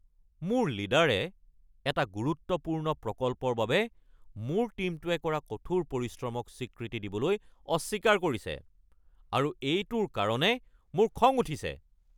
মোৰ লীডাৰে এটা গুৰুত্বপূৰ্ণ প্ৰকল্পৰ বাবে মোৰ টীমটোৱে কৰা কঠোৰ পৰিশ্ৰমক স্বীকৃতি দিবলৈ অস্বীকাৰ কৰিছে আৰু এইটোৰ কাৰণে মোৰ খং উঠিছে।